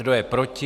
Kdo je proti?